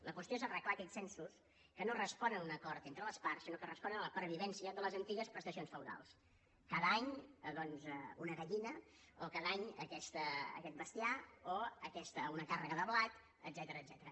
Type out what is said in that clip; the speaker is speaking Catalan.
la qüestió és arreglar aquells censos que no responen a un acord entre les parts sinó que responen a la pervivència de les antigues prestacions feudals cada any doncs una gallina o cada any aquest bestiar o una càrrega de blat etcètera